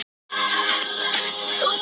Ef þú værir hvað?